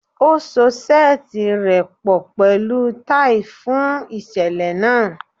O so seeti rẹ pọ pẹlu tai fun iṣẹlẹ naa